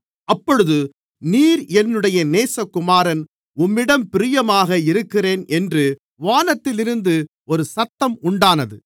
அப்பொழுது நீர் என்னுடைய நேசகுமாரன் உம்மிடம் பிரியமாக இருக்கிறேன் என்று வானத்திலிருந்து ஒரு சத்தம் உண்டானது